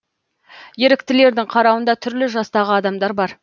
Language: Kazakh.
еріктілердің қарауында түрлі жастағы адамдар бар